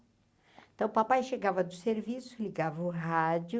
Então, o papai chegava do serviço, ligava o rádio,